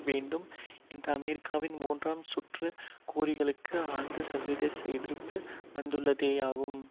வேண்டும் என்ற அமெரிக்காவின் மூன்றாம் சுற்று கோரிக்கைகளுக்கு ஆழ்ந்த சர்வதேச எதிர்ப்பு வந்துள்ளதேயாகும்